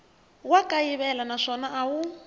wa kayivela naswona a wu